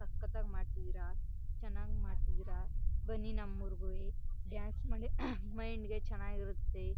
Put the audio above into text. ಸಕತ್ ಆಗಿ ಮಾಡ್ತಿದೀರಾ ಚನ್ನಾಗ್ ಮಾಡ್ತಿದೀರಾ ಬನ್ನಿ ನಮ ಉರಗುವೆ ಡಾನ್ಸ್ ಮಾಡಿ ಮೈಂಡ್ ಗೆ ಚನ್ನಾಗ್ ಇರುತ್ತೆ.